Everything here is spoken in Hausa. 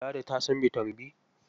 Ladi ta san bitamin B?